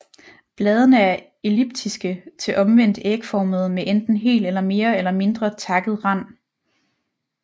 Bladene er elliptiske til omvendt ægformede med enten hel eller mere eller mindre takket rand